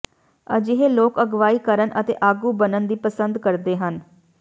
ਅਜਿਹੇ ਲੋਕ ਅਗਵਾਈ ਕਰਨ ਅਤੇ ਆਗੂ ਬਣਨ ਦੀ ਪਸੰਦ ਕਰਦੇ ਹਨ